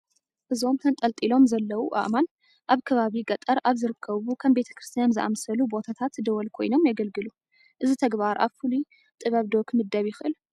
እዞም ተንጠልጢሎም ዘለዉ ኣእማን ኣብ ከባቢ ገጠር ኣብ ዝርከቡ ከም ቤተ ክርስቲያን ዝኣምሰሉ ቦታታት ደወል ኮይኖም የግልግሉ፡፡ እዚ ተግባር ኣብ ፍሉይ ጥበብ ዶ ክምደብ ይኽእል?